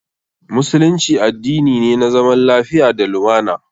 Musulunci addini ne na zaman lafiya da lumana.